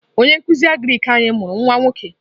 Onye nkuzi Agrik anyi mụrụ nwa nwoke.